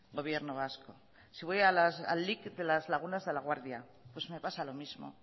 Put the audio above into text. gobierno vasco si voy a lic de las lagunas de la guardia pues me pasa lo mismo